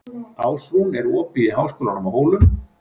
Ásrún, er opið í Háskólanum á Hólum?